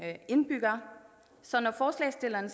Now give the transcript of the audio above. indbyggere så når forslagsstillerne